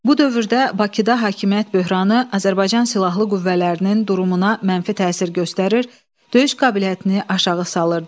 Bu dövrdə Bakıda hakimiyyət böhranı Azərbaycan Silahlı Qüvvələrinin durumuna mənfi təsir göstərir, döyüş qabiliyyətini aşağı salırdı.